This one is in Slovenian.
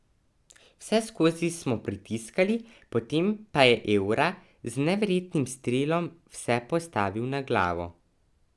Vseskozi smo pritiskali, potem pa je Evra z neverjetnim strelom vse postavil na glavo.